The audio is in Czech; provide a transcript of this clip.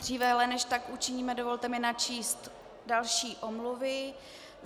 Dříve ale, než tak učiníme, dovolte mi načíst další omluvy.